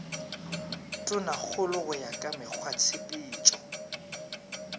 tonakgolo go ya ka mekgwatshepetšo